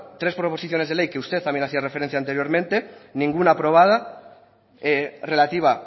tres proposiciones de ley que usted también hacía referencia anteriormente ninguna aprobada relativa